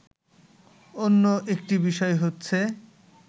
অন্য একটি বিষয় হচ্ছে